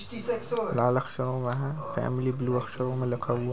लाल अक्षरों हुआ है में फैमिली ब्लू अक्षरों में लिखा हुआ--